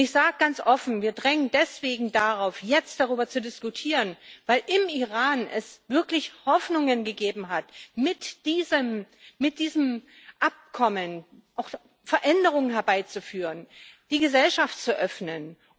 Ich sage ganz offen Wir drängen deswegen darauf, jetzt darüber zu diskutieren, weil es im Iran wirklich die Hoffnung gegeben hat, mit diesem Abkommen auch Veränderungen herbeizuführen, die Gesellschaft zu öffnen.